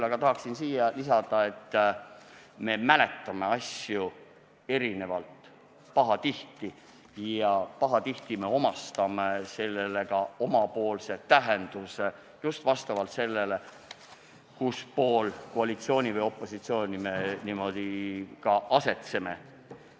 Aga tahaksin veel lisada, et me mäletame asju pahatihti erinevalt ja pahatihti anname neile omapoolse tähenduse, ja seda just vastavalt sellele, kuspool koalitsiooni ja opositsiooni joont me asetseme.